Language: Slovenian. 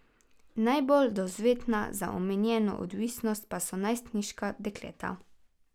Najbolj dovzetna za omenjeno odvisnost pa so najstniška dekleta.